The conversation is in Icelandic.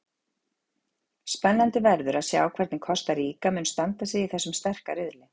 Spennandi verður að sjá hvernig Kosta Ríka mun standa sig í þessum sterka riðli.